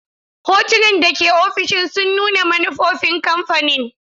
Hotunan da ke ofishin sun nuna manufofin kamfanin.